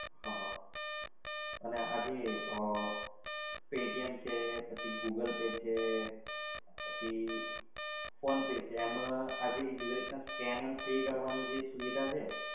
હ હ અને આ જે paytm છે, પછી google pay છે, પછી phone pay છે એમાં આ જેવી રીતે scan and pay કરવાની સુવિધા છે